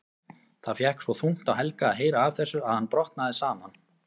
Það fékk svo þungt á Helga að heyra af þessu að hann brotnaði saman.